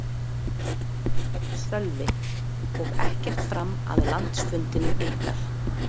Sölvi: Og ekkert fram að landsfundinum ykkar?